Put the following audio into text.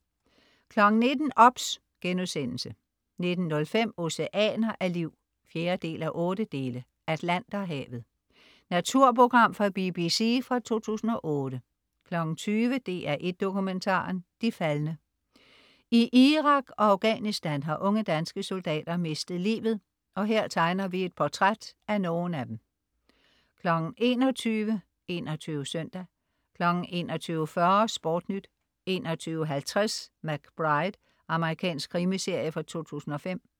19.00 OBS* 19.05 Oceaner af liv 4:8. "Atlanterhavet". Naturprogram fra BBC fra 2008 20.00 DR1 Dokumentaren: De faldne. I Irak og Afghanistan har unge danske soldater mistet livet, og her tegner vi et portræt af nogle af dem 21.00 21 SØNDAG 21.40 SportNyt 21.50 McBride. Amerikansk krimiserie fra 2005